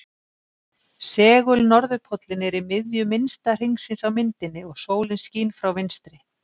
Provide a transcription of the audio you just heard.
Segul-norðurpóllinn er í miðju minnsta hringsins á myndinni og sólin skín frá vinstri.